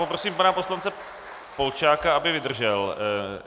Poprosím pana poslance Polčáka, aby vydržel.